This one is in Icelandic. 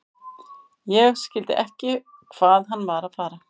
Ég skildi ekki hvað hann var að fara.